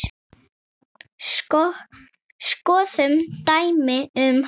Skoðum dæmi um hana